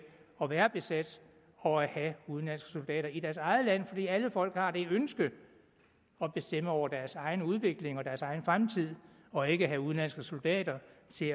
at være besat og have udenlandske soldater i deres eget land fordi alle folk har det ønske at bestemme over deres egen udvikling og deres egen fremtid og ikke have udenlandske soldater